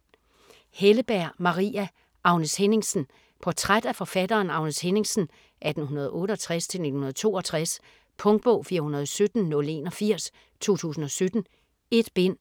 Helleberg, Maria: Agnes Henningsen Portræt af forfatteren Agnes Henningsen (1868-1962). Punktbog 417081 2017. 1 bind.